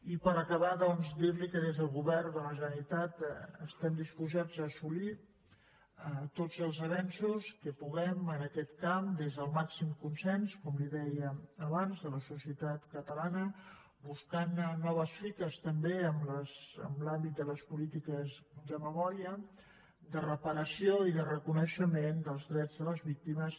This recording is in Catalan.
i per acabar doncs dirli que des del govern de la generalitat estem disposats a assolir tots els avenços que puguem en aquest camp des del màxim consens com li deia abans de la societat catalana buscant noves fites també en l’àmbit de les polítiques de memòria de reparació i de reconeixement dels drets de les víctimes